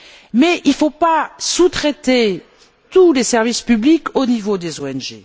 Mais il ne faut pas sous traiter tous les services publics au niveau des ONG.